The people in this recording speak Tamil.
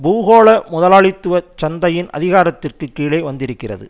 பூகோள முதலாளித்துவ சந்தையின் அதிகாரத்திற்க்கு கீழே வந்திருக்கிறது